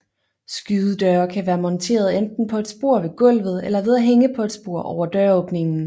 Skydedøre kan være monteret enten på et spor ved gulvet eller ved at hænge på et spor over døråbningen